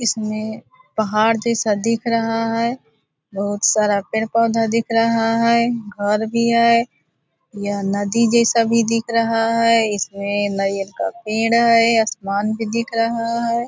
इसमें पहाड़ जैसा दिख रहा है। बहुत सारा पेड़-पौधा दिख रहा है। घर भी है। यह नदी जैसा भी दिख रहा है। इसमें नारियल का पेड़ है। आसमान भी दिख रहा है।